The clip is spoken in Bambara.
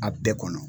A bɛɛ kɔnɔ